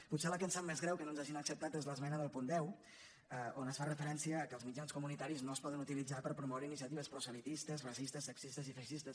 potser la que ens sap més greu que no ens hagin acceptat és l’esmena del punt deu on es fa referència al fet que els mitjans comunitaris no es poden utilitzar per promoure iniciatives proselitistes racistes sexistes i feixistes